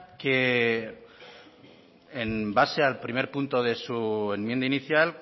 que en base al primer punto de su enmienda inicial